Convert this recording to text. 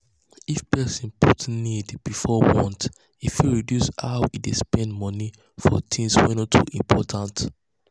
if person put needs before wants e fit reduce how e dey spend money for things wey no too important.